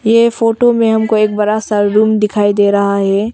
ये फोटो में हमको एक बड़ा सा रूम दिखाई दे रहा है।